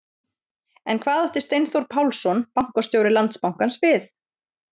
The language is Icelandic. En hvað átti Steinþór Pálsson, bankastjóri Landsbankans við?